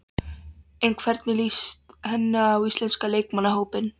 En hvernig líst henni á íslenska leikmannahópinn?